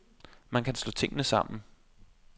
Man kan slå tingene sammen.